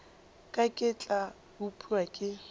ka ke tla upša ke